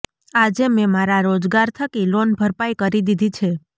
આજે મેં મારા રોજગાર થકી લોન ભરપાઇ કરી દીધી છે